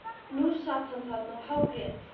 Nú sat hann þarna og hágrét.